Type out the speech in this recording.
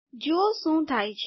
જુઓ શું થાય છે